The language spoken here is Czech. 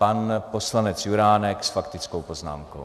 Pan poslanec Juránek s faktickou poznámkou.